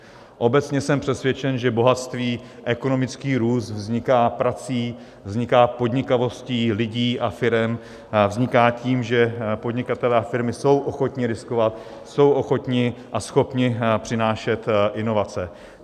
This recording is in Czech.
Obecně jsem přesvědčen, že bohatství, ekonomický růst vzniká prací, vzniká podnikavostí lidí a firem, vzniká tím, že podnikatelé a firmy jsou ochotni riskovat, jsou ochotni a schopni přinášet inovace.